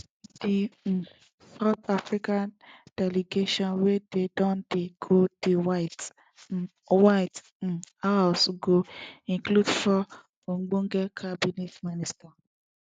di um south africa delegation wey don dey go di white um white um house go include four ogbonge cabinet ministers